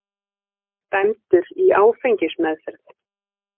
Dæmdur í áfengismeðferð